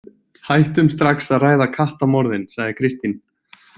Hættum strax að ræða kattamorðin, sagði Kristín.